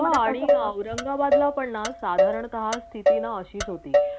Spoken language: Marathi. औरंगाबादला पण ना साधारणता स्तिथी ना अशीच होती